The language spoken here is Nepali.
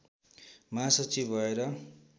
महासचिव भएर